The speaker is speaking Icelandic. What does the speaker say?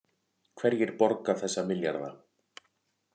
Hverjir borga þessa milljarða